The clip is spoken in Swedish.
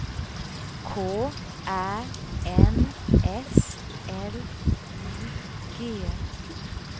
K Ä N S L I G